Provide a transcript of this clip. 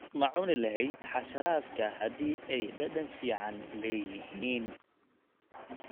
Ma cuni lahayd xasharaadka haddii ay dhadhan fiican leeyihiin?